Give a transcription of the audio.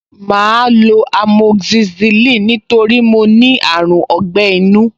Màá lo amoxicillin nítorí mo ní àrùn ọgbẹ́-inú